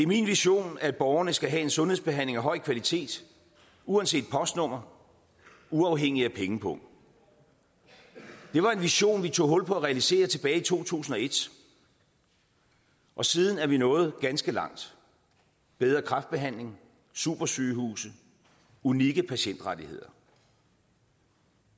min vision at borgerne skal have en sundhedsbehandling af høj kvalitet uanset postnummer uafhængig af pengepung det var en vision vi tog hul på at realisere tilbage i to tusind og et og siden er vi nået ganske langt bedre kræftbehandling supersygehuse unikke patientrettigheder